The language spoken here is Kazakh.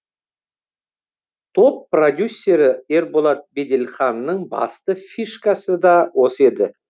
топ продюсері ерболат беделханның басты фишкасы да осы еді